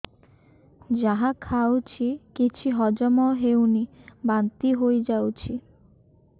ଯାହା ଖାଉଛି କିଛି ହଜମ ହେଉନି ବାନ୍ତି ହୋଇଯାଉଛି